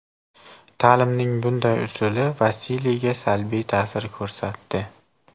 Ta’limning bunday usuli Vasiliyga salbiy ta’sir ko‘rsatdi.